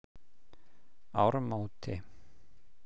Ármóti